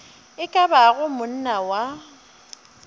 e ka bago monna wa